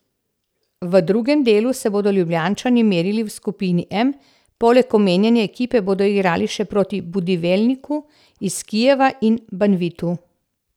V drugem delu se bodo Ljubljančani merili v skupini M, poleg omenjene ekipe bodo igrali še proti Budivelniku iz Kijeva in Banvitu.